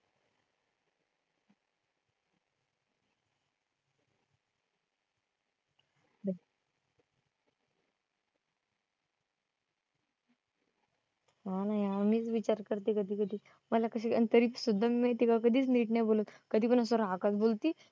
हा ना यार मीच विचार करते कधी कधी. मला कशी आणि तरी सुद्धा मी तिला कधीच नीट नाही बोलत. कधीपण असा बोलती